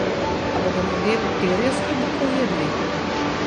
A bodo ljudje perje s klobukov jedli?